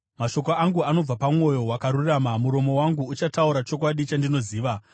Mashoko angu anobva pamwoyo wakarurama; muromo wangu uchataura chokwadi chandinoziva.